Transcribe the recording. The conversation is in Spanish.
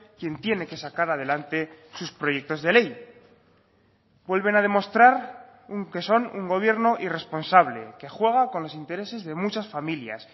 quien tiene que sacar adelante sus proyectos de ley vuelven a demostrar que son un gobierno irresponsable que juega con los intereses de muchas familias